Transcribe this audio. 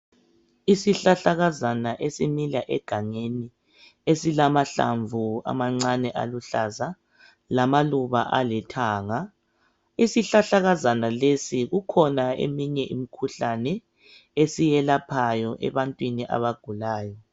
Isihlahlakazana esimila egangeni esilamahlamvu amancane aluhlaza, lamaluba alithanga. Isihlahlakazana lesi kukhona eminye imikhuhlane esiyelaphayo abantwini abagulayo.